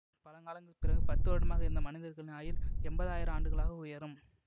பல காலங்களுக்கு பிறகு பத்து வருடமாக இருந்த மனிதர்களின் ஆயுள் எம்பது ஆயிர ஆண்டுகளாக உயரும்